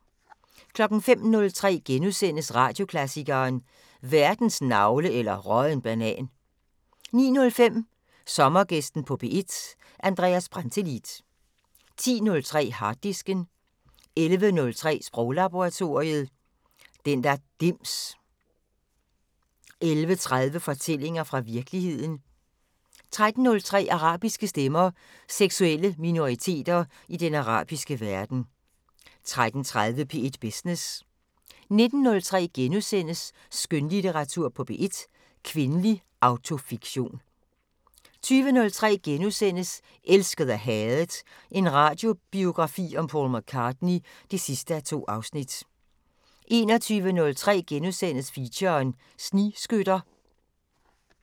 05:03: Radioklassikeren: Verdens navle eller rådden banan * 09:05: Sommergæsten på P1: Andreas Brantelid 10:03: Harddisken 11:03: Sproglaboratoriet: Den der dims 11:30: Fortællinger fra virkeligheden 13:03: Arabiske stemmer: Seksuelle minoriteter i den arabiske verden 13:30: P1 Business 19:03: Skønlitteratur på P1: Kvindelig autofiktion * 20:03: Elsket og hadet – en radiobiografi om Paul McCartney (2:2)* 21:03: Feature: Snigskytter *